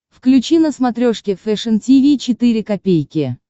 включи на смотрешке фэшн ти ви четыре ка